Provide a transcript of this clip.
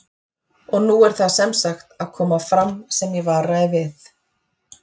Og nú er það sem sagt að koma fram sem ég varaði við